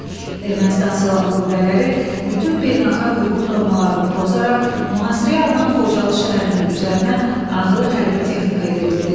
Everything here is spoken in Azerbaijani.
Ermənistan silahlı qüvvələri bütün beynəlxalq hüquq normalarını pozaraq mühasirəyə alınan Xocalı şəhərinin üzərinə ağır hərbi texnika yeritdi.